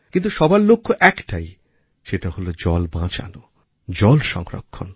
কিন্তু সবার লক্ষ্য একটাই সেটা হল জল বাঁচানো জল সংরক্ষণ